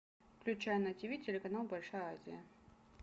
включай на тиви телеканал большая азия